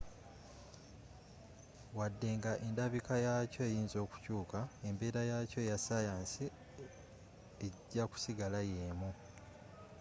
wadde nga endabika yakyo eyinza okukyuuka embeera yaakyo eya sayansi ejja kusigala yeemu